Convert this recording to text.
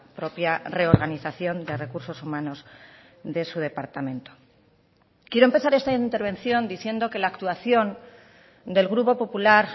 propia reorganización de recursos humanos de su departamento quiero empezar esta intervención diciendo que la actuación del grupo popular